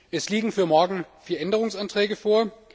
Es liegen für morgen vier Änderungsanträge vor.